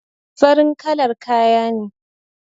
Farin kalar kaya ne